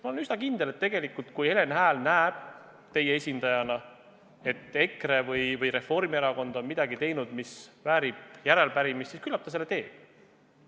Ma olen üsna kindel, et kui Helen Hääl teie esindajana näeb, et EKRE või Reformierakond on teinud midagi, mis väärib järeleuurimist, siis küllap ta seda teeb.